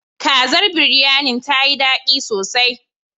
Kazar Biryanin ta yi daɗi sosai.